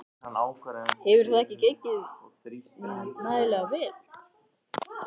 Hefur það ekki gengið nægilega vel?